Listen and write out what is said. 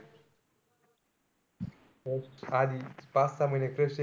म आधी पाच-सहा महिने crush,